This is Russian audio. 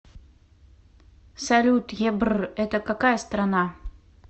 салют ебрр это какая страна